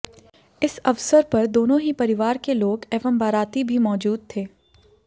इस अवसर पर दोनों ही परिवार के लोग एवं बाराती भी मौजूद थे